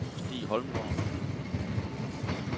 Stig Holmgaard